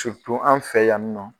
an fɛ yan nɔ.